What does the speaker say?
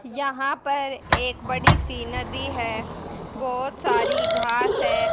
यहां पर एक बड़ी सी नदी है बहुत सारी घास है।